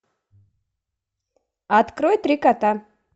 открой три кота